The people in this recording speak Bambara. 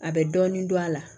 A bɛ dɔɔnin don a la